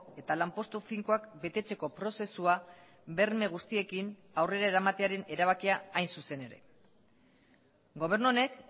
eta lanpostu finkoak betetzeko prozesua berme guztiekin aurrera eramatearen erabakia hain zuzen ere gobernu honek